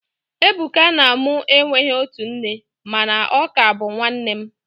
Ebuka na mu enweghi otu nne, mana ọ ka bu nwannem